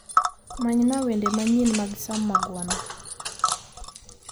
manyna wende manyien mag sam magwana